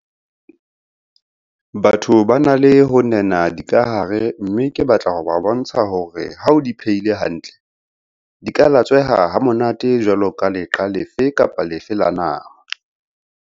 Batho ba na le ho nena dikahare mme ke batla ho ba bontsha hore ha o di phehile hantle, di ka latsweha ha monate jwaloka leqa lefe kapa lefe la nama.